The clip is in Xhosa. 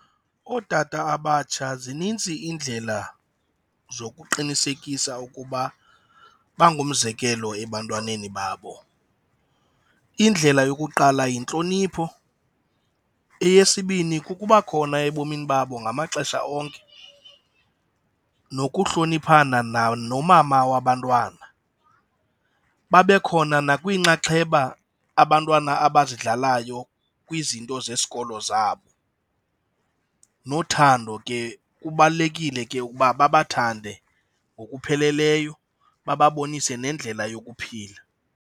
Ootata abatsha zinintsi iindlela zokuqinisekisa ukuba bangumzekelo ebantwaneni babo. Indlela yokuqala yintlonipho, eyesibini kukuba khona ebomini babo ngamaxesha onke nokuhloniphana nomama wabantwana, babe khona nakwiinxaxheba abantwana abayizidlalayo kwizinto zesikolo zabo. Nothando ke, kubalulekile ke ukuba babe bathande ngokupheleleyo, bababonise nendlela yokuphila.